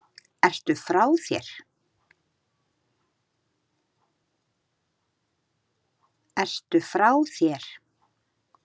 Ertu frá þér??